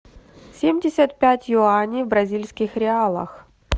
семьдесят пять юаней в бразильских реалах